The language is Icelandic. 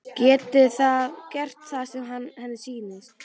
Geti gert það sem henni sýnist.